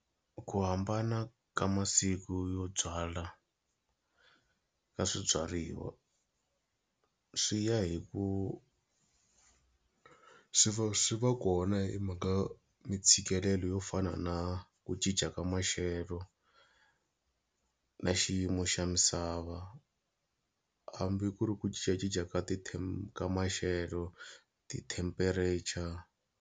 Ku hambana ka masiku yo byala ka swibyariwa swi ya hi ku swi va swi va kona himhaka mitshikelelo yo fana na ku cinca ka maxelo na xiyimo xa misava hambi ku ri ku cincacinca ka ti ka maxelo ti-temperature.